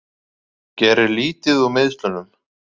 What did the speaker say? Gerir lítið úr meiðslunum